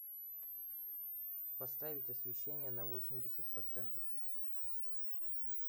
поставить освещение на восемьдесят процентов